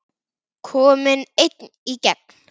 Kominn einn í gegn?